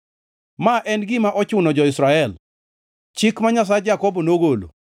Ma en gima ochuno jo-Israel; chik ma Nyasach Jakobo nogolo.